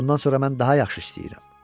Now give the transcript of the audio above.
Bundan sonra mən daha yaxşı işləyəcəm.